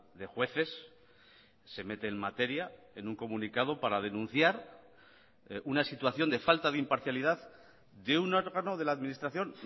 de jueces se mete en materia en un comunicado para denunciar una situación de falta de imparcialidad de un órgano de la administración